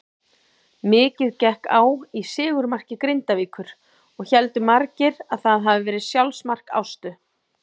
Mikið gekk á í sigurmarki Grindavíkur og héldu margir að það hafiði verið sjálfsmark Ástu.